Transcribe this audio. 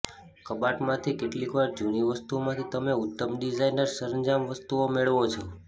કબાટમાંથી કેટલીકવાર જૂની વસ્તુઓમાંથી તમે ઉત્તમ ડિઝાઇનર સરંજામ વસ્તુઓ મેળવો છો